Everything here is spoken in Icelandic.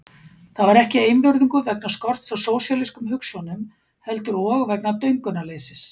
Það var ekki einvörðungu vegna skorts á sósíalískum hugsjónum heldur og vegna döngunarleysis.